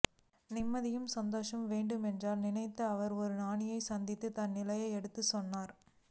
நிம்மதியும் சந்தோஷமும் வேண்டும் என்று நினைத்த அவர் ஒரு ஞானியைச் சந்தித்து தன் நிலையை எடுத்துச் சொன்னார்